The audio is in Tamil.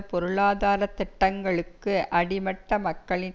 பொருளாதார திட்டங்களுக்கு அடிமட்ட மக்களின்